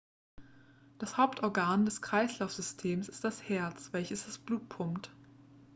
das hauptorgan des kreislaufsystems ist das herz welches das blut pumpt